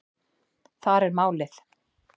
Þar er málið.